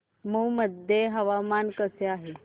मौ मध्ये हवामान कसे आहे